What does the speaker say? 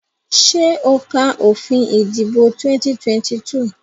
Ṣé o ka òfin ìdìbò 2022?